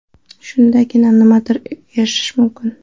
Shundagina nimagadir erishish mumkin.